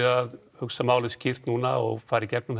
að hugsa málin skýrt núna og fara í gegnum